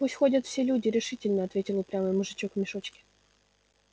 пусть ходят все люди решительно ответил упрямый мужичок в мешочке